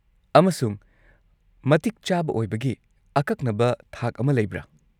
-ꯑꯃꯁꯨꯡ ꯃꯇꯤꯛ ꯆꯥꯕ ꯑꯣꯏꯕꯒꯤ ꯑꯀꯛꯅꯕ ꯊꯥꯛ ꯑꯃ ꯂꯩꯕ꯭ꯔꯥ?